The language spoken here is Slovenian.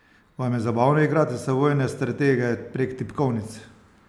Vam je zabavno igrati se vojne stratege prek tipkovnic?